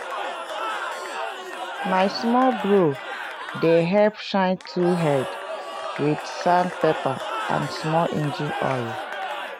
my small bro dey help shine tool head wit sandpaper and small engine oil.